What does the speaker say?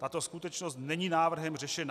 Tato skutečnost není návrhem řešena.